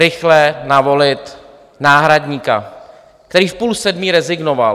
Rychle navolit náhradníka, který v půl sedmé rezignoval.